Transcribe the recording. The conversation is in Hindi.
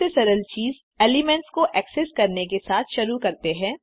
सबसे सरल चीज़ एलिमेंट्स को एक्सेस करने के साथ शुरू करते हैं